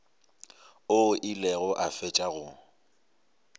o ile go fetša go